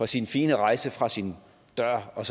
sin fine rejse fra sin dør og